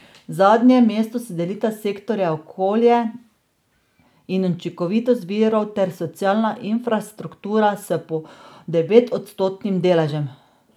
Zadnje mesto si delita sektorja okolje in učinkovitost virov ter socialna infrastruktura s po devetodstotnim deležem.